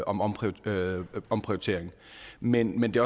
om omprioritering men det